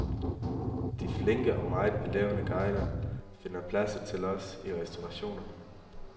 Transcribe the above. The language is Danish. De flinke og meget belevne guider finder pladser til os i restaurationerne.